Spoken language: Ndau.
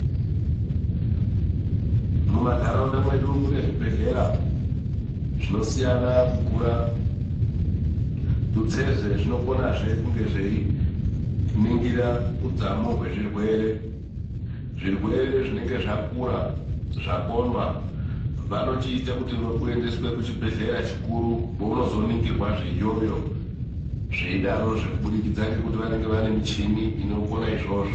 Mumanharaunda mwedu munezvibhedhlera , zvinosiyana kukura, tutsezve zvinokonazve kunge zveiningira udzamu hwezvirwere, zvirwere zvinenge zcakura, zvakomba vanochiite kuti uendeswe kuchibhedhlera chikuru pounozoningirwezve iyoyo, zveidarozve kubudikidza ngekuti vanenge vane michini inokone izvozvo.